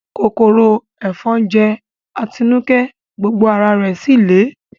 Kòkòrò ẹ̀fọn jẹ́ Atinúkẹ́, gbogbo ara rẹ̀ síì lé